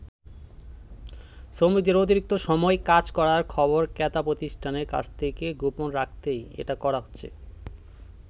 শ্রমিকদের অতিরিক্ত সময় কাজ করার খবর ক্রেতা প্রতিষ্ঠানের কাছ থেকে গোপন রাখতেই এটা করা হচ্ছে।